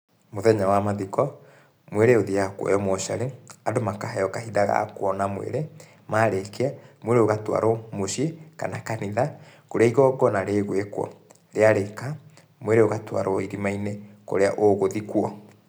Mũthenya wa mathiko, mwĩrĩ ũthiaga kuoywo mocarĩ, andũ makaheo kahinda ga kuona mwĩrĩ, marĩkia, mwĩrĩ ũgatwarwo muciĩ kana kanitha, kũrĩa igongona rĩgwĩkwo. Rĩarĩka, mwĩrĩ ũgatwarwo irima-inĩ kũrĩa ũgũthikwo.